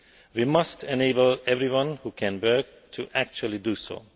We must enable everyone who can work to actually do so.